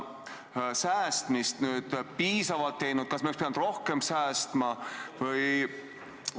Kas me oleme piisavalt säästnud, kas me oleks pidanud rohkem säästma?